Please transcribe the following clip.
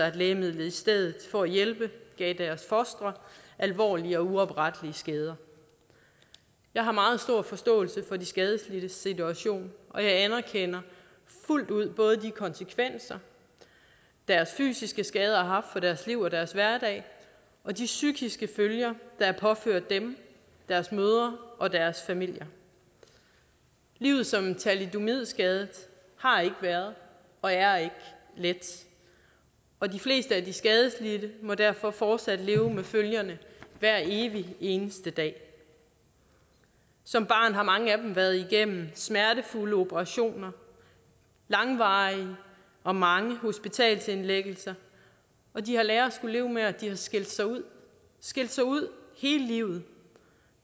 at lægemidlet i stedet for at hjælpe gav deres fostre alvorlige og uoprettelige skader jeg har meget stor forståelse for de skadelidtes situation og jeg anerkender fuldt ud både de konsekvenser deres fysiske skader har haft for deres liv og deres hverdag og de psykiske følger der er påført dem deres mødre og deres familier livet som thalidomidskadet har ikke været og er ikke let og de fleste af de skadelidte må derfor fortsat leve med følgerne hver evig eneste dag som barn har mange af dem været igennem smertefulde operationer langvarige og mange hospitalsindlæggelser og de har lært at skulle leve med at de har skilt sig ud skilt sig ud hele livet